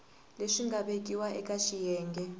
leswi nga vekiwa eka xiyenge